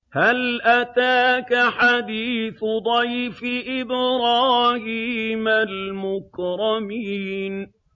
هَلْ أَتَاكَ حَدِيثُ ضَيْفِ إِبْرَاهِيمَ الْمُكْرَمِينَ